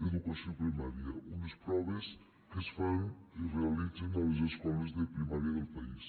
d’educació primària unes proves que es fan i es realitzen a les escoles de primària del país